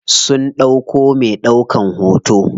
Sun ɗauko me ɗaukan hoto.